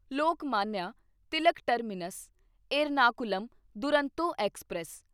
Lokmanya Tilak Terminus Ernakulam Duronto express